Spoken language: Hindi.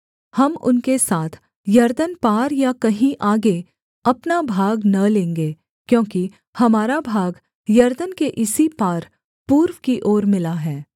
हम उनके साथ यरदन पार या कहीं आगे अपना भाग न लेंगे क्योंकि हमारा भाग यरदन के इसी पार पूर्व की ओर मिला है